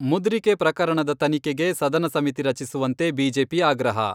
ಮುದ್ರಿಕೆ ಪ್ರಕರಣದ ತನಿಖೆಗೆ ಸದನ ಸಮಿತಿ ರಚಿಸುವಂತೆ ಬಿಜೆಪಿ ಆಗ್ರಹ.